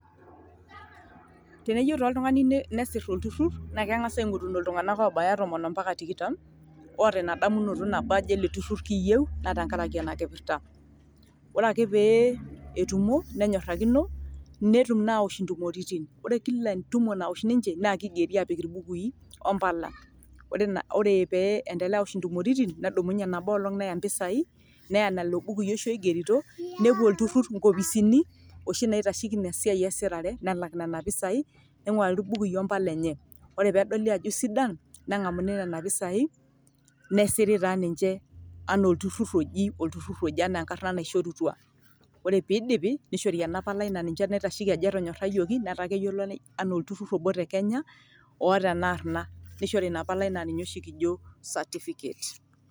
Teneyieu taa oltungani nesir olturur naa kengas aingoruno iltungana obaya tomon mpaka tikitam oota ina damunoto ajo ele turur kiiyio naa te nkaraki ena kipirta. Ore pee etumo nenyorakino netum naa aosh ntumoritin, ore kila entumo naosh ninche naa kigeri apik mbului ompala, ore pee endelea aosh ntumoritin nedumunye nabo olong neya pisai neya lelo bukui oshi oigerito nepuo olturur kopisini oshi naitasheiki ina siai esirare nelak nena pisai, neingurari irbukui ompala enye ore pee edoli ajo eisidan, nengamuni nena pisai nesir taa ninche anaa olturur oji olturur oji enaa enaishorutua. Ore pee idip neishori ena palai naa ninye naitasheki ajo etonyorayioki netaa keyioloi anaa olturur obo te kenya oata ena arna nishori ina palai na ninye oshi kijo certificate.